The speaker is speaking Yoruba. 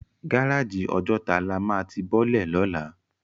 Gáráji Òjòtá lá má ti bòlè lólà